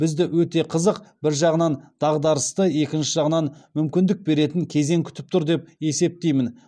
бізді өте қызық бір жағынан дағдарысты екінші жағынан мүмкіндік беретін кезең күтіп тұр деп есептеймін